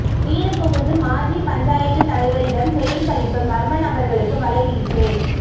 வீடு புகுந்து மாஜி பஞ்சாயத்து தலைவரிடம் செயின் பறிப்பு மர்மநபர்களுக்கு வலைவீச்சு